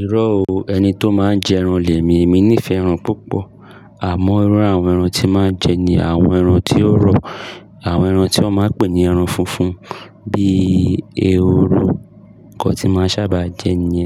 Irọ́ o, ẹni tó máa ń jẹ ẹran lèmi. Èmi nífẹ̀ẹ́ ẹran púpọ̀. Àmọ́ irú àwọn ẹran tí máa ń jẹ ni àwọn ẹran tó rọ̀, àwọn ẹran tí wọ́n máa ń pè ní ẹran funfun bíi ehoro ko tí máa sábà jẹ ni.